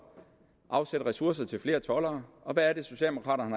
afsætte ressourcer til flere toldere og hvad er det socialdemokraterne